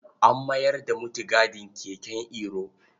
An mayar da mutigadin keken Iro.